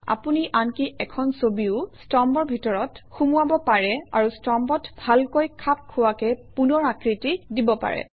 আপুনি আনকি এখন ছবিও স্তম্ভৰ ভিতৰত সুমুৱাব পাৰে আৰু স্তম্ভত ভালকৈ খাপ খোৱাকৈ পুনৰ আকৃতি দিব পাৰে